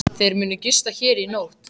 Þeir munu gista hér í nótt.